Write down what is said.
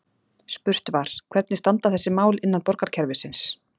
Spurt var: Hvernig standa þessi mál innan borgarkerfisins?